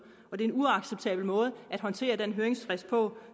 det er en uacceptabel måde at håndtere den høringsfrist på